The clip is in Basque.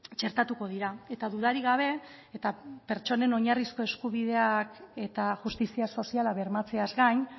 txertatuko dira eta dudarik gabe eta pertsonen oinarrizko eskubideak eta justizia soziala bermatzeaz gain